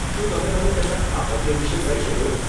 શું તમે મને તેના સ્થાપત્ય વિષે કહી શકો?